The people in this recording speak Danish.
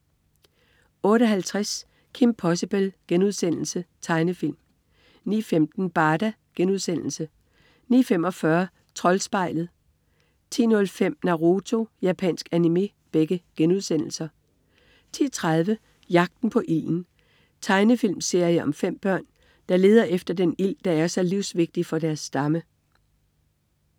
08.50 Kim Possible.* Tegnefilm 09.15 Barda* 09.45 Troldspejlet* 10.05 Naruto.* Japansk anime 10.30 Jagten på ilden. Tegnefilmserie om 5 børn, der leder efter den ild, der er så livsvigtig for deres stamme